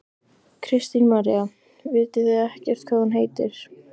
Kristín María: Vitið þið ekkert hvað hún heitir?